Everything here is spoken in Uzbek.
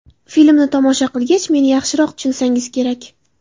Filmni tomosha qilgach, meni yaxshiroq tushunsangiz kerak.